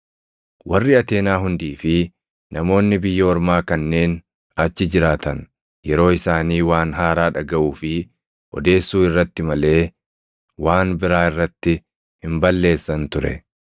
Warri Ateenaa hundii fi namoonni biyya ormaa kanneen achi jiraatan yeroo isaanii waan haaraa dhagaʼuu fi odeessuu irratti malee waan biraa irratti hin balleessan ture.